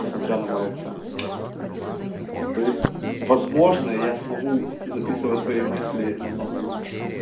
несмотря на мой акцент вот то есть возможно я смогу записывать свои мысли намного лучше